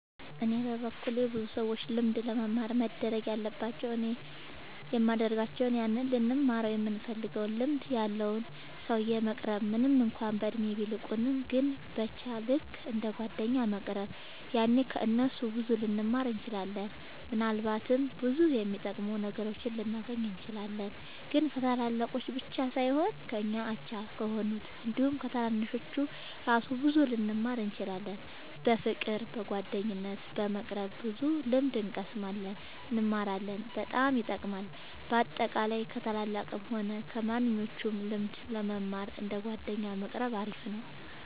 እኔ በበኩሌ ከሰዎች ልምድ ለመማር መደረግ ያለባቸው እኔም የሚደርጋቸው ያንን ልንማረው ይምንፈልገውን ልምድ ያለውን ሰውዬ መቅረብ ምንም እንኳን በእድሜ ቢልቁንም ግን በቻ ልክ እንደ ጓደኛ መቅረብ ያኔ ከ እነሱ ብዙ ልንማር እንችላለን። ምናልባትም ብዙ የሚጠቅሙ ነገሮችን ልናገኝ እንችላለን። ግን ከታላላቅ ብቻ ሳይሆን ከኛ አቻ ከሆኑት አንዲሁም ከታናናሾቹ እራሱ ብዙ ልንማር እንችላለን። በፍቅር በጓደኝነት በመቅረብ ብዙ ልምድ እንቀስማለን እንማራለን በጣም ይጠቅማል። በአጠቃላይ ከ ታላላቅም ሆነ ከማንኞቹም ልምድ ለመማር እንደ ጓደኛ መቆረብ አሪፍ ነው